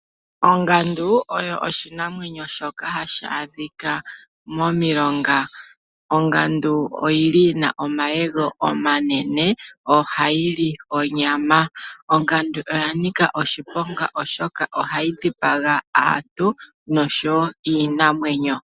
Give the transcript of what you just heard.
Ongandu oyo oshinamwenyo shoka hashi adhika momiilonga. Ongandu oyi li yina omayego manene yo ohayi li onyama. Ongandu oya nika oshiponga oshoka ohayi dhipaga aantu nosho wo iinamwenyo.